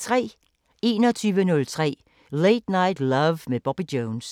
21:03: Late Night Love med Bobby Jones